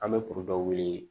An bɛ kuru dɔ weele